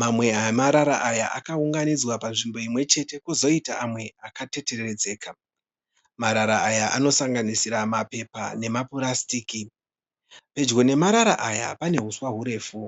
Mamwe emarara aya akaunganidzwa panzvimbo imwechete kozoita amwe akateteredzeka. Marara aya anosanganisira mapepa nemapurasitiki. Pedyo nemarara aya pane huswa hurefu.